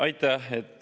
Aitäh!